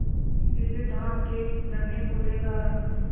धानी जैसे धान के नन्हे पौधों का रंग